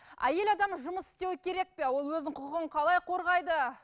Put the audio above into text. әйел адам жұмыс істеу керек пе ол өзінің құқығын қалай қорғайды